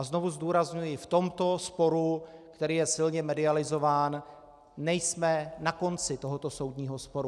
A znovu zdůrazňuji, v tomto sporu, který je silně medializován, nejsme na konci tohoto soudního sporu.